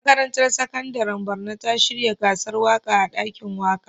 Makarantar Sakandaren Borno ta shirya gasar waƙa a ɗakin waƙa.